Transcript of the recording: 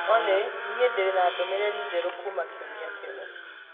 Olly niĩ ndirĩ na ndũmĩrĩri njerũ kuma kiumia kĩu